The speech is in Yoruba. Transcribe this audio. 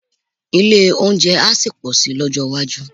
Ilé-oúnjẹ á sì pọ̀ si lọ́jọ́ iwájú